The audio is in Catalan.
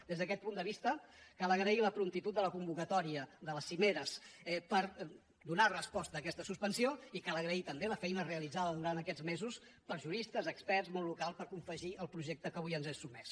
des d’aquest punt de vista cal agrair la promptitud de la convocatòria de les cimeres per donar resposta a aquesta suspensió i cal agrair també la feina realitzada durant aquests mesos per juristes experts món local per confegir el projecte que avui ens és sotmès